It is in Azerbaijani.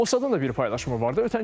Mossadın da bir paylaşımı var idi.